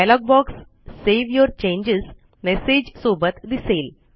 dialogue box save your changesमेसेज सोबत दिसेल